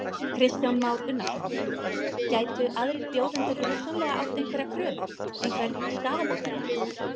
Kristján Már Unnarsson: Gætu aðrir bjóðendur hugsanlega átt einhverja kröfu, einhvern skaðabótarétt?